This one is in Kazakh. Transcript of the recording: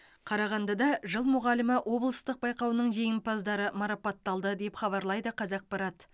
қарағандыда жыл мұғалімі облыстық байқауының жеңімпаздары марапатталды деп хабарлайды қазақпарат